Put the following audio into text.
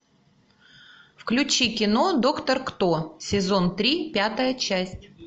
включи кино доктор кто сезон три пятая часть